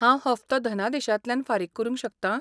हांव हप्तो धनादेशांतल्यान फारीक करूंक शकतां?